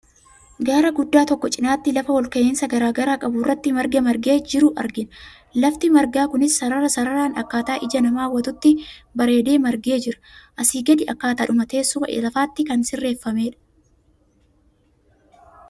Gaara guddaa tokko cinaatti lafa olka'iinsa garaagaraa qabu irratti marga margee jiru argina. Lafti margaa kunis sarara sararaan akkaataa ija namaa hawwatutti bareedee margee jira. Asii gadee akkaataadhuma teessuma lafaatti kan sirreeffamedha.